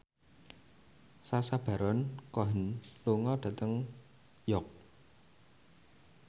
Sacha Baron Cohen lunga dhateng York